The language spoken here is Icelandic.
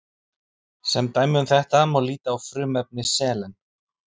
Sem dæmi um þetta má líta á frumefni selen.